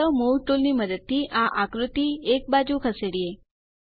ચાલો move tool ની મદદથી આ આકૃતિ એક બાજુ ખસેડીએ